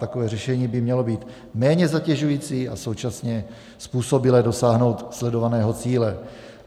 Takové řešení by mělo být méně zatěžující a současně způsobilé dosáhnout sledovaného cíle.